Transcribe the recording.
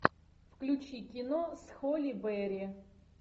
включи кино с холли берри